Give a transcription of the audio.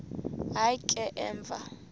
hayi ke emva